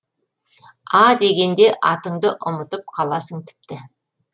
а дегенде атыңды ұмытып қаласың тіпті